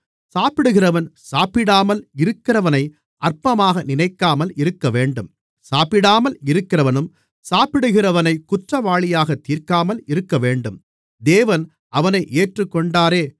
சாப்பிடுகிறவன் சாப்பிடாமல் இருக்கிறவனை அற்பமாக நினைக்காமல் இருக்கவேண்டும் சாப்பிடாமல் இருக்கிறவனும் சாப்பிடுகிறவனைக் குற்றவாளியாகத் தீர்க்காமல் இருக்கவேண்டும் தேவன் அவனை ஏற்றுக்கொண்டாரே